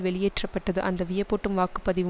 வெளியேற்ற பட்டது அந்த வியப்பூட்டும் வாக்கு பதிவு